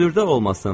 Hündürdə olmasın.